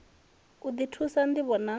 u ḓi thusa ṋdivho na